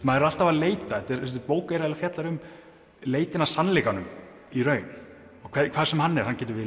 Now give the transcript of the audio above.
maður er alltaf að leita þessi bók fjallar um leitina að sannleikanum í raun hvar sem hann er hann getur verið